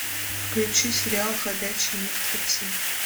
включи сериал ходячие мертвецы